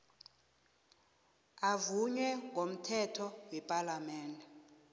avunywe ngomthetho wepalamende